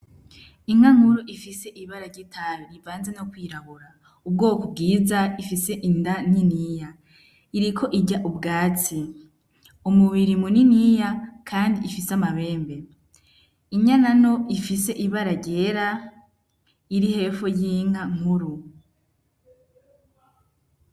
Inka nkuru ifise ibara ry'itabi ivanze no kw'irabura ubwoko bwiza ifise inda niniya iriko irya ubwatsi, Umubiri mu niniya kandi ifise amahembe, Inyana nto ifise ibara ryera iri hepho yinka nkuru.